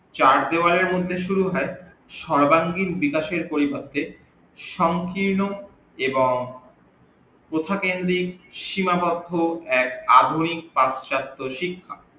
চার দেওয়ালের মধ্যে সুরু হই সরবাঙ্গিক বিকাশের পরিবর্তে সঙ্কীর্ণ এবং প্রথাক্রেন্দিক সীমাবদ্ধ এক আধুনিক পাচ্যাত্ত শিক্ষা